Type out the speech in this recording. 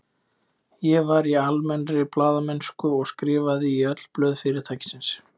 Ég var í almennri blaðamennsku og skrifaði í öll blöð fyrirtækisins.